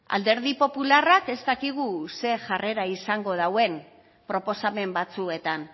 alderdi popularrak ez dakigu ze jarrera izango dauen proposamen batzuetan